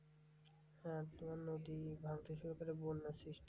হ্যাঁ তোমার নদী ভাঙতে শুরু করে, বন্যার সৃষ্টি হয়।